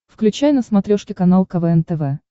включай на смотрешке канал квн тв